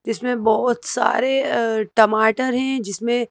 जिसमें बहुत सारे अ टमाटर हैं जिसमें।